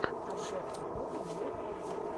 обзор охота мое хобби